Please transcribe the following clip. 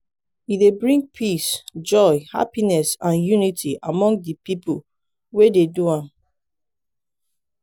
e dey bring peace joy happiness and unity among de people we de do am.